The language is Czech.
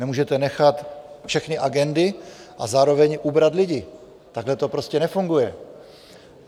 Nemůžete nechat všechny agendy a zároveň ubrat lidi, takhle to prostě nefunguje.